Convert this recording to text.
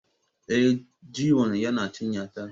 Eh, Jiwon yana cinya ta